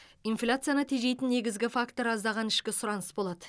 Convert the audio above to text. инфляцияны тежейтін негізгі фактор аздаған ішкі сұраныс болады